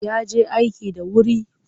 Ya je aiki da wuri.